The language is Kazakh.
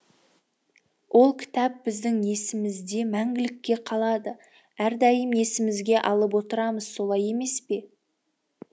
ол кітап біздің есімізде мәңгілікке қалады әрдайым есімізге алып отырамыз солай емес пе